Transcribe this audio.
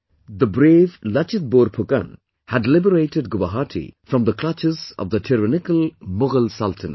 The brave Lachit Borphukan had liberated Guwahati from the clutches of the tyrannical Mughal Sultanate